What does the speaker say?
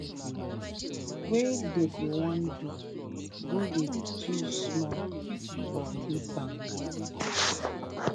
wey dem go wan do go dey too small for big banks